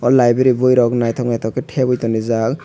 o libery boi rok naitok naitok ke teboi tongrijak.